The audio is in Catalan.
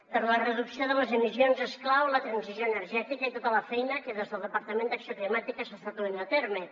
per a la reducció de les emissions és clau la transició energètica i tota la feina que des del departament d’acció climàtica s’està duent a terme